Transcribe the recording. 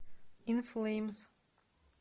ин флеймс